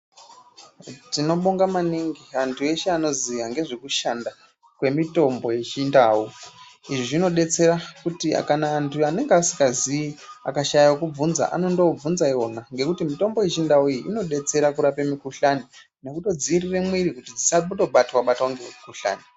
Tinobonga maningi anthu eshe anoziye ngezvekushanda kwemitombo yechindau izvi zvinodetsera kuti kana anthu anenge asingazii akashaya wekubvunza anondobvunza iwona ngekuti mitombo yechindau iyi inodetsera kurape mikuhlani nekutodzivirira mwiri kuti dzisandobatwe batwe nemikuhlani.